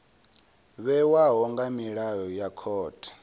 vhewaho nga milayo ya khothe